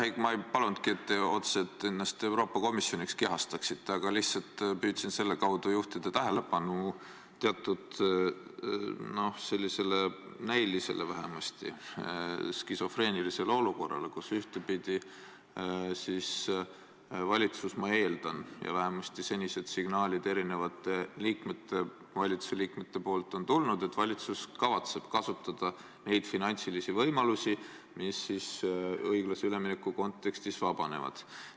Jah, ma ei palunudki, et te otseselt endast Euroopa Komisjoni kehastaksite, aga lihtsalt püüdsin selle kaudu juhtida tähelepanu vähemasti näiliselt skisofreenilisele olukorrale, kus ühtepidi valitsus – ma eeldan, ja vähemasti senised signaalid on erinevate valitsusliikmete poolt tulnud – kavatseb kasutada neid finantsilisi võimalusi, mis õiglase ülemineku kontekstis vabanevad.